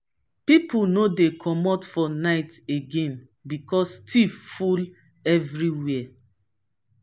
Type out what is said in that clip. pipo no dey comot for night again because tiff full everywhere.